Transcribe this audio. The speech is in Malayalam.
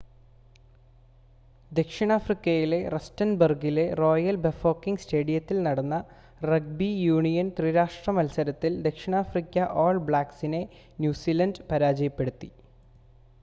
ദക്ഷിണാഫ്രിക്കയിലെ റസ്റ്റൻബർഗിലെ റോയൽ ബഫോക്കെംഗ് സ്റ്റേഡിയത്തിൽ നടന്ന റഗ്ബി യൂണിയൻ ത്രിരാഷ്‌ട്ര മത്സരത്തിൽ ദക്ഷിണാഫ്രിക്ക ഓൾ ബ്ലാക്ക്സിനെ ന്യൂസിലൻഡ് പരാജയപ്പെടുത്തി